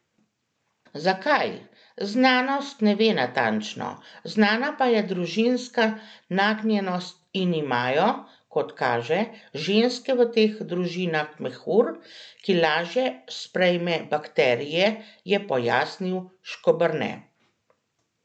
Zakaj, znanost ne ve natančno, znana pa je družinska nagnjenost in imajo, kot kaže, ženske v teh družinah mehur, ki lažje sprejme bakterije, je pojasnil Škoberne.